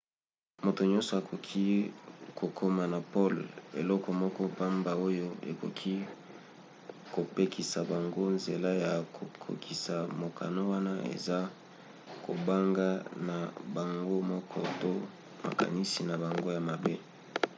moto nyonso akoki kokoma na pole. eloko moko pamba oyo ekoki kopekisa bango nzela ya kokokisa mokano wana eza kobanga na bango moko to makanisi na bango ya mabe